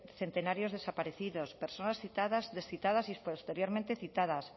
centenarios desaparecidos personas citadas descitadas y posteriormente citadas